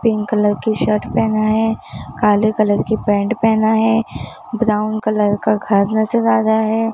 Pink colour की shirt पहना है काले कलर की पैंट पहना है ब्राउन कलर का घर नज़र आ रहा है।